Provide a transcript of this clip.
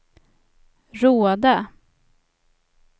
Råda